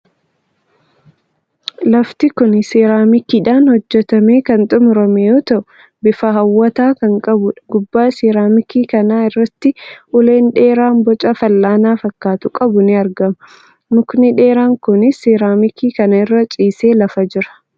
Lafti kuni Siiraamikiidhan hojjatamee kan xumurame yoo ta'u bifa hawwataa kan qabuudha. Gubbaa siiraamikii kana irratti uleen dheeraan boca fal'aana fakkaatu qabu ni argama. Mukni dheeran kuni Siiraamikii kana irratti ciisee lafa jira.